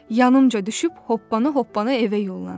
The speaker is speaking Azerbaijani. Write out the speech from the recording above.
Yanımca düşüb hoppana-hoppana evə yollandı.